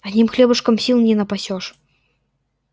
одним хлебушком сил не напасёшь